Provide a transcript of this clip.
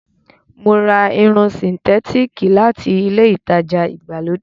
Mo ra Irun sìǹtétííkì láti ilé-ìtajà ìgbàlódé.